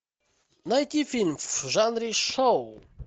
найти фильм в жанре шоу